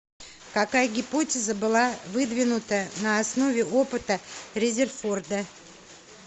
какая гипотеза была выдвинута на основе опыта резерфорда